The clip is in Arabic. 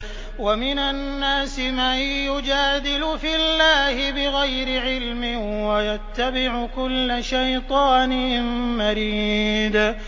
وَمِنَ النَّاسِ مَن يُجَادِلُ فِي اللَّهِ بِغَيْرِ عِلْمٍ وَيَتَّبِعُ كُلَّ شَيْطَانٍ مَّرِيدٍ